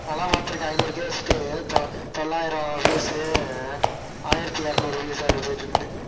நானெல்லாம் பாத்திருக்கேன் ஐநூறு case க்கு தொ~ தொள்ளாயிரம் views உ ஆயிரத்தி இருநூறு views அப்படி போயிட்டிருக்குது